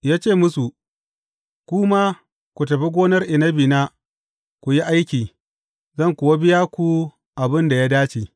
Ya ce musu, Ku ma ku tafi gonar inabina ku yi aiki, zan kuwa biya ku abin da ya dace.’